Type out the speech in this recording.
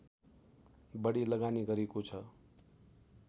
बढी लगानी गरेको छ